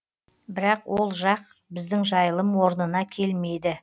бірақ ол жақ біздің жайылым орнына келмейді